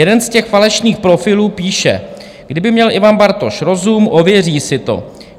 Jeden z těch falešných profilů píše: "Kdyby měl Ivan Bartoš rozum, ověří si to.